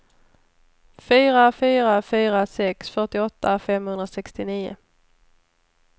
fyra fyra fyra sex fyrtioåtta femhundrasextionio